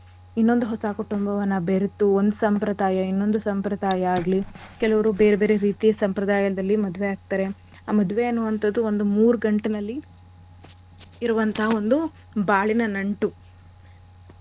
ಇನ್ನೊಂದ್ ಹೊಸ ಕುಟುಂಬವನ್ನ ಬೆರೆತು ಒಂದ್ ಸಂಪ್ರದಾಯ ಇನ್ನೊಂದು ಸಂಪ್ರದಾಯ ಆಗ್ಲಿ ಕೆಲವ್ರು ಬೇರೆ ಬೇರೆ ರೀತಿಯ ಸಂಪ್ರದಾಯದಲ್ಲಿ ಮದ್ವೆ ಆಗ್ತಾರೆ. ಆ ಮದ್ವೆ ಅನ್ನೋ ಅಂಥದ್ದು ಒಂದ್ ಮೂರ್ ಗಂಟಿನಲ್ಲಿ ಇರುವಂತಹ ಒಂದು ಬಾಳಿನ ನಂಟು.